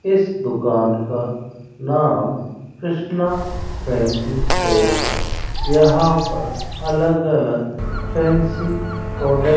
इस दुकान का नाम कृष्णा फैंसी स्टोर है यहां पर अलग अलग फैंसी प्रोडक्ट --